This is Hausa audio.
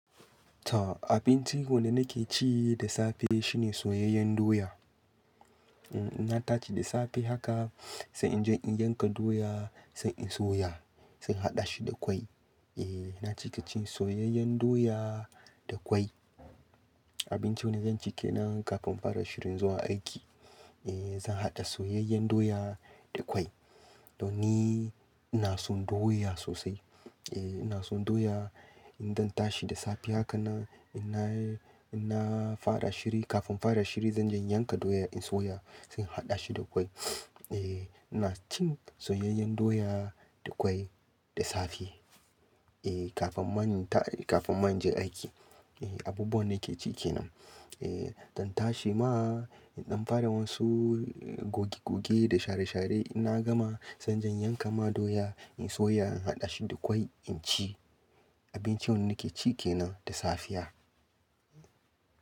Ta abincin wanda nake ci da safe shine soyayyen doya. Eh ina tashi da safe haka sannan inje in yanka doya, sai in soya, sai in haɗa shi da kwai. Eh na ci kaciyan soyayyen doya da kwai. Abincin wanda zan ci kenan kafin fara shirin zuwa aiki. Eh zan haɗa soyayyen doya da kwai. To ni ina son doya sosai. Eh ina son doya, idanna tashi da safe haka nan, ina, ina fara shiri kafin fara shiri zan je in yanka doya in soya sai in haɗa shi da kwai. Eh ina cin soyayyen doya da kwai da safe. Eh kafin bani ta, kafin ma in je aiki. Eh abubuwan nake ci kenan. Eh zan tashi ma, in ɗan fara wasu goge goge da share share inna gama zan je yanka ma doya, in soya, in haɗa shi da kwai, in ci. Abincin wanda nake ci kenan da safiya.